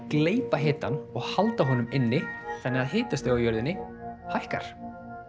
gleypa hitann og halda honum inni þannig að hitastigið á jörðinni hækkar